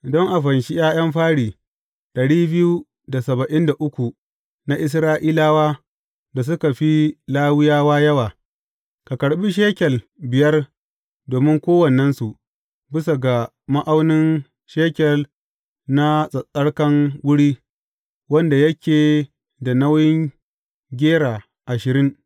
Don a fanshi ’ya’yan fari na Isra’ilawa da suka fi Lawiyawa yawa, ka karɓi shekel biyar domin kowannensu, bisa ga ma’aunin shekel na tsattsarkan wuri, wanda yake da nauyin gera ashirin.